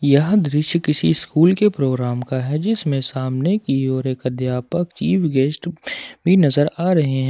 यह दृश्य किसी स्कूल के प्रोग्राम का है जिसमें सामने की ओर एक अध्यापक चीफ गेस्ट भी नजर आ रहे हैं।